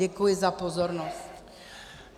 Děkuji za pozornost.